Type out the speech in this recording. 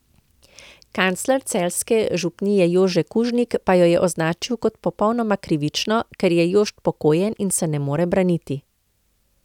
Kancler celjske župnije Jože Kužnik pa jo je označil kot popolnoma krivično, ker je Jošt pokojen in se ne more braniti.